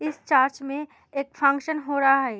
इस चर्च में एक फंक्शन हो रहा है।